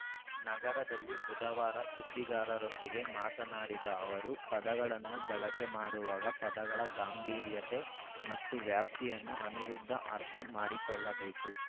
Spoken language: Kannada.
ನಗರದಲ್ಲಿ ಬುಧವಾರ ಸುದ್ದಿಗಾರರೊಂದಿಗೆ ಮಾತನಾಡಿದ ಅವರು ಪದಗಳನ್ನು ಬಳಕೆ ಮಾಡುವಾಗ ಪದಗಳ ಗಾಂಭೀರ್ಯತೆ ಮತ್ತು ವ್ಯಾಪ್ತಿಯನ್ನು ಅನಿರುದ್ಧ ಅರ್ಥ ಮಾಡಿಕೊಳ್ಳಬೇಕು